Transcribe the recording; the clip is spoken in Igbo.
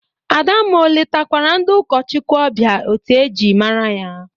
Adamma o letakwara ndị ụkọchụkwụ ọbịa etu e ji mara ya?